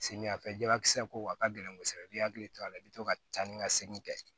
Samiyɛ fɛla kisɛ ko a ka gɛlɛn kɔsɔbɛ i b'i hakili to a la i bi to ka taa ni ka segin kɛ